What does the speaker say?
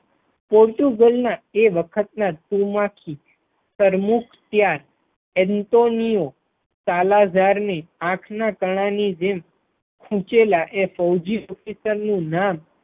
Portugal ના તે વખત ના તુમાખી તર્મુખીયા એન્ટોનિયો કાલાજાર ની આંખ ના તાણાંની જેમ સૂચેલા એ ફૌજી officer નું નામ.